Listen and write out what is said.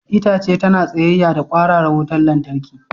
Itace tana tsayayya da kwararar wutar lantarki.